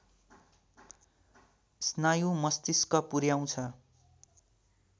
स्नायु मस्तिष्क पुर्‍याउँछ